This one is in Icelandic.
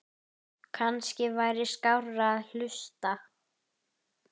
Kannski væri skárra að hlusta